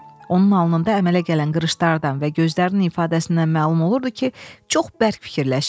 Onun alnında əmələ gələn qırışlardan və gözlərinin ifadəsindən məlum olurdu ki, çox bərk fikirləşir.